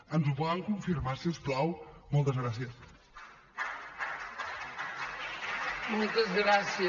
ens ho poden confirmar si us plau moltes gràcies